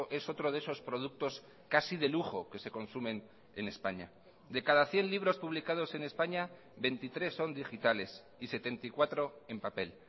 es otro de esos productos casi de lujo que se consumen en españa de cada cien libros publicados en españa veintitrés son digitales y setenta y cuatro en papel